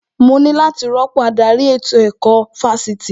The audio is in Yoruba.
Mo ní láti rọ́pò adarí ètò ẹ̀kọ́ Fásitì